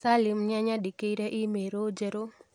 Salim nĩanyandĩkĩire i-mīrū njerũ